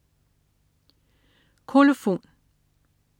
Kolofon